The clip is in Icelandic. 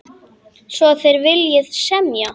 Svo þér viljið semja?